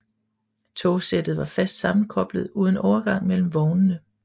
Togsættet var fast sammenkoblet uden overgang mellem vognene